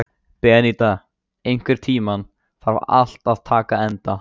Beníta, einhvern tímann þarf allt að taka enda.